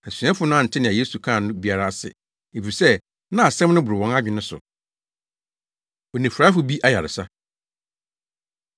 Asuafo no ante nea Yesu kaa no biara ase, efisɛ na asɛm no boro wɔn adwene so. Onifuraefo Bi Ayaresa